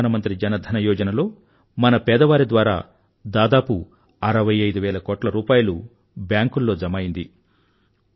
ప్రధానమంత్రి జన ధన యోజనలో మన పేదవారి ద్వారా దాదాపు 65 వేల కోట్ల రూపాయిలు బ్యాంకుల్లో జమ అయ్యింది